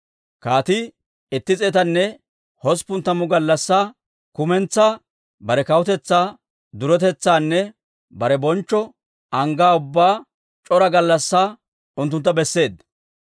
Kaatii itti s'eetanne hosppun tammu gallassaa kumentsaa bare kawutetsaa duretetsaanne bare bonchcho anggaa ubbaa c'ora gallassaa unttuntta besseedda.